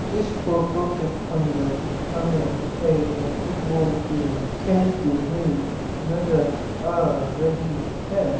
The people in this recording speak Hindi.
इस फोटो के अंदर हमें एक फुटबॉल टीम खेलती हुई नजर आ रही है।